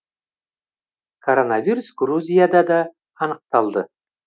коронавирус грузияда да анықталды